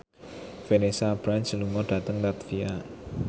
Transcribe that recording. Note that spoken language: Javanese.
Vanessa Branch lunga dhateng latvia